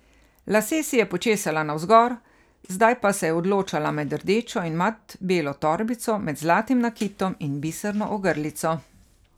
Lase si je počesala navzgor, zdaj pa se je odločala med rdečo in mat belo torbico, med zlatim nakitom in biserno ogrlico.